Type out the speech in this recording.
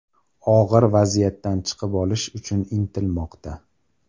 Og‘ir vaziyatdan chiqib olish uchun intilmoqda.